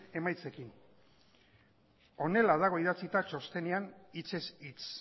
emaitzekin honela dago idatzita txostenean hitzez hitz